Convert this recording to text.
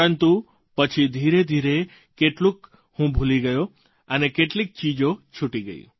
પરંતુ પછી ધીરેધીરે કેટલુંક હું ભૂલી ગયો અને કેટલીક ચીજો છૂટી ગઈ